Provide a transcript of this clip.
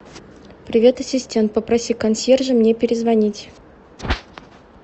привет ассистент попроси консьержа мне перезвонить